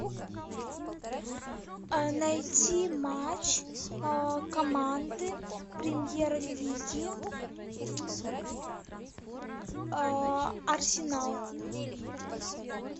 найти матч команды премьер лиги арсенал